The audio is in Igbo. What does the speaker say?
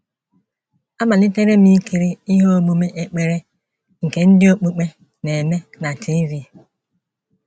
Amalitere m ikiri ihe omume ekpere nke ndị okpukpe na - eme na TV.